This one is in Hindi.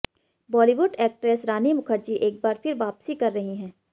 बॉलीवुड एक्ट्रेस रानी मुखर्जी एक बार फिर वापसी कर रही है